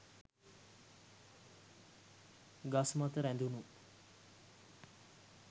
ගස් මත රැඳුනු